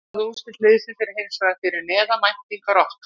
Frammistaða og úrslit liðsins er hins vegar fyrir neðan væntingar okkar.